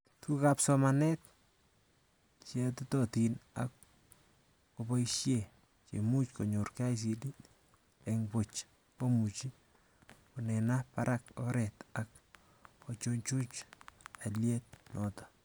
Tugukab somanet cheatotin ak koboishee chemuch konyor KICD eng boch komuch konena barak oret ak kochuchuch aliet noto